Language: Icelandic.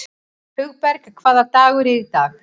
Hugberg, hvaða dagur er í dag?